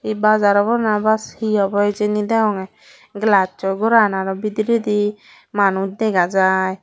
bazar obo na bas hi obo hijeni deyongye glass soi goran arw bidiredi manus dega jai.